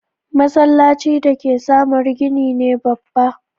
Masallacin da ke samaru gini ne babba.